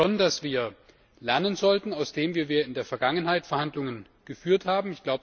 Ich glaube schon, dass wir lernen sollten aus dem, wie wir in der Vergangenheit Verhandlungen geführt haben.